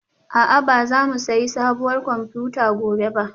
A'a ba za mu sayi sabuwar kwamfuta gobe ba